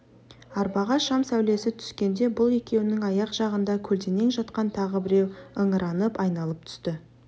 арбаға шам сәулесі түскенде бұл екеуінің аяқ жағында көлденең жатқан тағы біреу ыңыранып айналып түсті